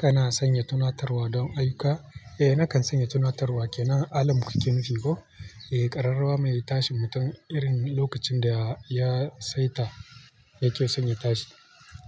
Kana sanya tunatarwa don ayuka? Eh, nakan sanya tunatarwa. Ke nan, alam kuke nufi ko? Eh, ƙararrawa mai tashi mutum irin lokacin da ya saita yake son ya tashi.